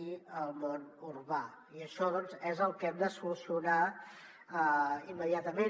i el món urbà i això és el que hem de solucionar immediatament